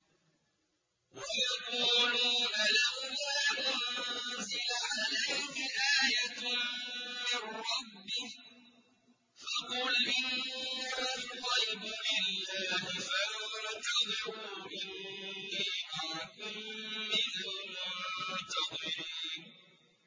وَيَقُولُونَ لَوْلَا أُنزِلَ عَلَيْهِ آيَةٌ مِّن رَّبِّهِ ۖ فَقُلْ إِنَّمَا الْغَيْبُ لِلَّهِ فَانتَظِرُوا إِنِّي مَعَكُم مِّنَ الْمُنتَظِرِينَ